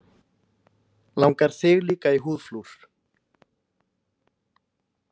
Langar þig líka í húðflúr?